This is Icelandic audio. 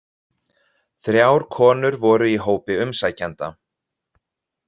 Þrjár konur voru í hópi umsækjenda